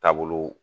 Taabolo